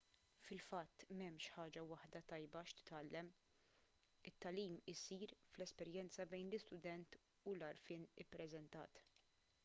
fil-fatt m'hemmx ħaġa waħda tajba x'titgħallem it-tagħlim isir fl-esperjenza bejn l-istudent u l-għarfien ippreżentat